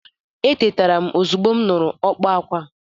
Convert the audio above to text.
Etetara m ozugbo m nụrụ ka ọkpa akwa.